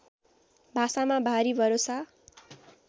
भाषामा भारी भरोसा